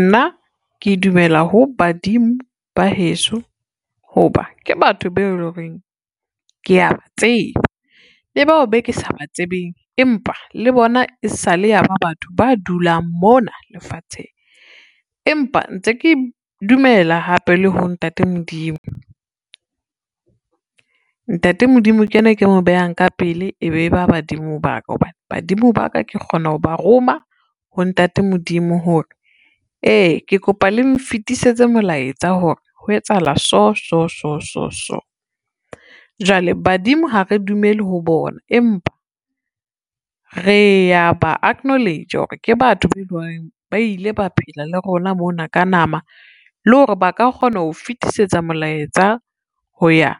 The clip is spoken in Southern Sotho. Nna ke dumela ho badimo ba heso ho ba ke batho beo e lo reng, kea ba tseba le bao be ke sa ba tsebeng empa le bona e sale ya ba batho ba dulang mona lefatsheng, empa ntse ke dumela hape le ho ntate Modimo. Ntate Modimo ke ena e ke mo behang ka pele, ebe ba badimo ba ka hobane badimo ba ka ke kgona ho ba roma ho ntate Modimo hore, ee ke kopa le nfetisetse molaetsa hore ho etsahala so, so, so, so, so. Jwale badimo ha re dumele ho bona, empa re ya ba acknowledge-a hore ke batho be lo reng ba ile ba phela le rona mona ka nama le hore ba ka kgona ho fetisetsa molaetsa ho ya